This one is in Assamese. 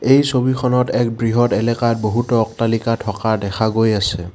এই ছবিখনত এক বৃহৎ এলেকাত বহুতো অট্টালিকা থকা গৈ আছে।